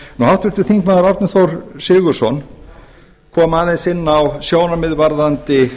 háttvirtur þingmaður árni þór sigurðsson kom aðeins inn á sjónarmið varðandi